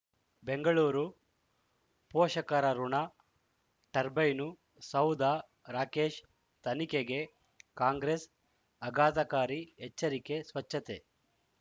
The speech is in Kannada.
ಬೆಂಗಳೂರು ಪೋಷಕರಋಣ ಟರ್ಬೈನು ಸೌಧ ರಾಕೇಶ್ ತನಿಖೆಗೆ ಕಾಂಗ್ರೆಸ್ ಆಘಾತಕಾರಿ ಎಚ್ಚರಿಕೆ ಸ್ವಚ್ಛತೆ